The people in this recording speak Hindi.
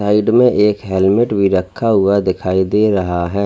साइड में एक हेलमेट भी रखा हुआ दिखाई दे रहा है।